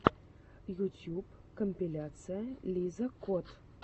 ютьюб компиляция лиза кот